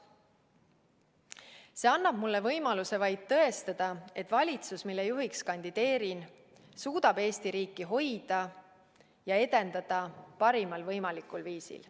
See annab mulle võimaluse vaid tõestada, et valitsus, mille juhiks kandideerin, suudab Eesti riiki hoida ja edendada parimal võimalikul viisil.